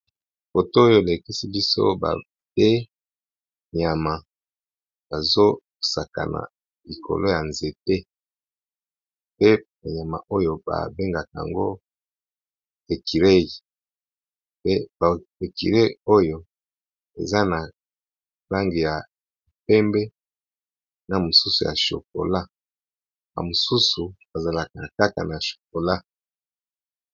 Foto oyo elekisi liso ba be nyama bazo sakana likolo ya nzete pe ba nyama oyo babengaka ango ekirei, pe ekirei oyo eza na langi ya pembe na mosusu ya chokola na mosusu bazalaka kaka na chokola.